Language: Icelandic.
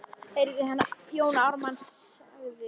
heyrði hann að Jón Ármann sagði.